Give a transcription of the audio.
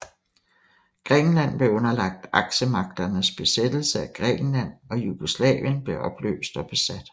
Grækenland blev underlagt Aksemagternes besættelse af Grækenland og Jugoslavien blev opløst og besat